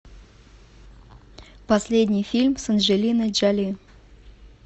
последний фильм с анджелиной джоли